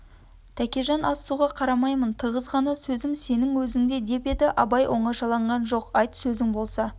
тәкежан ас-суға қарамаймын тығыз ғана сөзім сенің өзінде деп еді абай оңашаланған жоқ айт сөзің болса